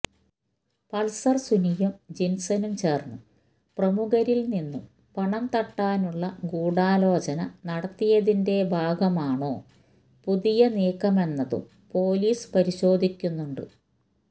Pulsar സുനിയും ജിന്സനും ചേര്ന്ന് പ്രമുഖരില് നിന്നും പണം തട്ടാനുള്ള ഗൂഢാലോചന നടത്തിയതിന്റെ ഭാഗമാണോ പുതിയ നീക്കമെന്നതും പൊലീസ് പരിശോധിക്കുന്നുണ്ട്